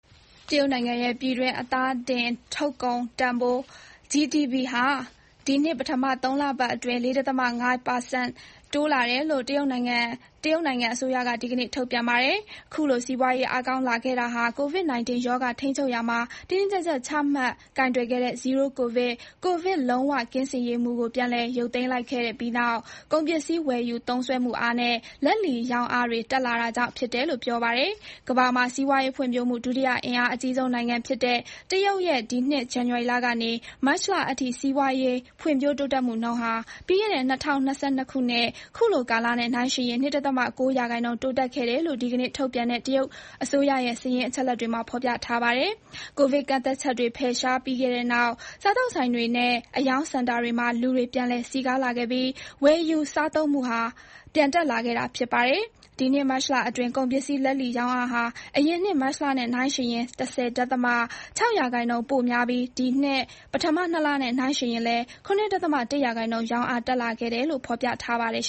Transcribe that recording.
တရုတ်နိုင်ငံရဲ့ ပြည်တွင်း အသားတင်ထုတ်ကုန်တန်ဖိုး GDP ဟာ ဒီနှစ် ပထမ ၃ လပတ်အတွင်း ၄.၅ % တိုးလာတယ်လို့ တရုတ်အစိုးရက ဒီကနေ့ ထုတ်ပြန်ပါတယ်။ ခုလို စီးပွားရေး အားကောင်းလာခဲ့တာဟာ COVID-19 ရောဂါ ထိန်းချုပ်ရာမှာ တင်းတင်းကျပ်ကျပ် ချမှတ် ကိုင်တွယ်ခဲ့တဲ့ “Zero-COVID” ကိုဗစ် လုံးဝကင်းစင်ရေးမူကို ပြန်လည် ရုပ်သိမ်းလိုက်ပြီးတဲ့နောက် ကုန်ပစ္စည်း ဝယ်ယူသုံးစွဲမှုအားနဲ့ လက်လီ ရောင်းအားတွေ တက်လာတာကြောင့် ဖြစ်တယ်လို့ ပြောပါတယ်။ ကမ္ဘာမှာ စီးပွားရေးဖွံ့ဖြိုးမှု ဒုတိယ အင်အားအကြီးဆုံး နိုင်ငံဖြစ်တဲ့ တရုတ် ရဲ့ ဒီနှစ် ဇန်နဝါရီလ ကနေ မတ်လအထိ စီးပွားရေး ဖွံ့ဖြိုးတိုးတက်မှုနှုန်းဟာ ပြီးခဲ့တဲ့ ၂၀၂၂ ခုနှစ် ခုလိုကာလနဲ့ နှိုင်းယှဉ်ရင် ၂.၉ % တိုးတက်ခဲ့တယ် လို့ ဒီကနေ့ ထုတ်ပြန်တဲ့ တရုတ်အစိုးရရဲ့ စာရင်း အချက်အလက်တွေမှာ ဖော်ပြထားပါတယ်။ ကိုဗစ်ကန့်သတ်ချက်တွေ ဖယ်ရှားခဲ့ပြီးတဲ့နောက် စားသောက်ဆိုင်တွေနဲ့ အရောင်းစင်တာကြီးတွေမှာ လူတွေ ပြန်လည် စည်ကားလာခဲ့ပြီး ဝယ်ယူ စားသုံးမှုအား ပြန်တက်လာခဲ့တာ ဖြစ်ပါတယ်။ ဒီနှစ် မတ်လအတွင်း ကုန်ပစ္စည်း လက်လီရောင်းအားဟာ အရင်နှစ် မတ်လနဲ့ နှိုှုင်းယှဉ်ရင် ၁၀.၆ % ပိုများပြီး ဒီနှစ် ပထမ ၂ လနဲ့ နှိုင်းယှဉ်ရင်လည်း ၇.၁ % ရောင်းအား တက်လာခဲ့တယ်လို့ ဖော်ပြပါတယ်